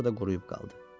Sonra da quruyub qaldı.